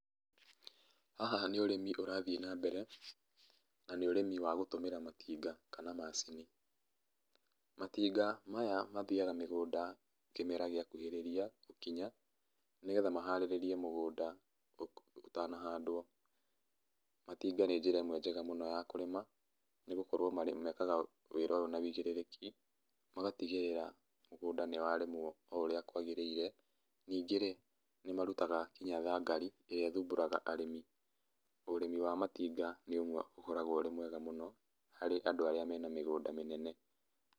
Haha nĩ ũrĩmi ũrathiĩ na mbere, na nĩ ũrĩmi wa gũtũmĩra matinga kana macini. Matinga maya mathiaga mĩgũnda kĩmera gĩakuhĩrĩria gũkinya, nĩgetha maharĩrĩrĩe mũgũnda ũtanahandwo. Matinga nĩ njĩra ĩmwe njega mũno ya kũrĩma, nĩgũkorwo mekaga wĩra ũyũ na ũigĩrĩrĩki, magatigĩrĩra mũgũnda nĩwarĩmwo o ũrĩa kwagĩrĩire. Ningĩ-rĩ, nĩmarutaga nginya thangari, irĩa ĩthumbũraga arĩmi. Ũrĩmi wa matinga nĩũmwe ũkoragwo ũrĩ mwega mũno harĩ Andũ arĩa mena mĩgũnda mĩnene·